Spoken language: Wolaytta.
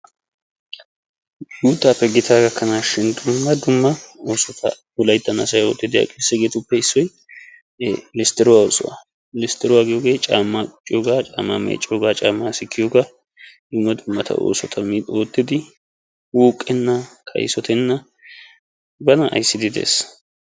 Guuttaappe gitaa gakkanaashin dumma dumma oossota wolayttan asay oottiidi issoy listtiruwaa oosuwaa. listtiruwaa giyoogee caammaa qucciyoogaa, caammaa meecciyoogaa, caammaa sikkiyoogaa. dumma dumma oosota oottidi wuuqenna, kaysotenna bana ayssidi des.